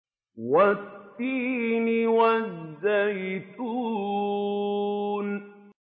وَالتِّينِ وَالزَّيْتُونِ